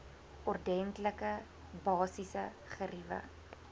ordentlike basiese geriewe